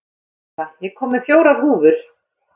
Arnika, ég kom með fjórar húfur!